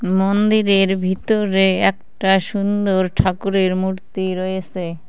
মন্দিরের ভিতরে একটা সুন্দর ঠাকুরের মূর্তি রয়েসে।